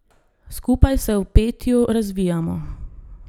Skupaj se v petju razvijamo.